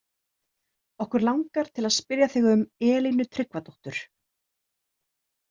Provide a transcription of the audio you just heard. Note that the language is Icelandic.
Okkur langar til að spyrja þig um Elínu Tryggvadóttur?